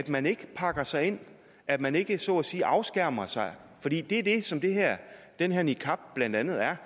man ikke pakker sig ind at man ikke så at sige afskærmer sig for det er det som den her niqab blandt andet er